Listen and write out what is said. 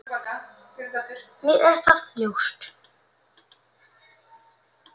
Mér er það ljóst.